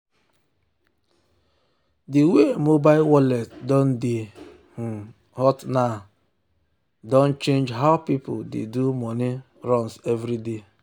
the way mobile wallet don dey um hot now hot now don change how people dey do money um runs every day.